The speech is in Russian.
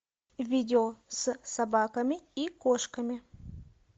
видео с собаками и кошками